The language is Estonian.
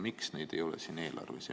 Miks neid ei ole siin eelarves?